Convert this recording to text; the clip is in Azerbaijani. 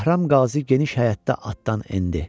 Bəhram Qazi geniş həyətdə atdan endi.